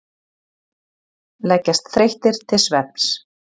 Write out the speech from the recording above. Leggjast þreyttir til svefns.